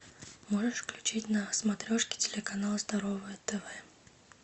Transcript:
можешь включить на смотрешке телеканал здоровое тв